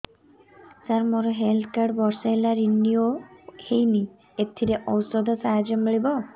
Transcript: ସାର ମୋର health card ବର୍ଷେ ହେଲା ରିନିଓ ହେଇନି ଏଥିରେ ଔଷଧ ସାହାଯ୍ୟ ମିଳିବ